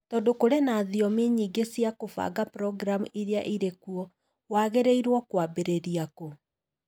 Tondũ kũrĩ na thiomi nyingĩ cia kũbanga programu iria irĩ kuo, wagĩrĩirũo kwambĩrĩria kũ?